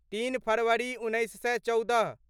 तीन फरवरी उन्नैस सए चौदह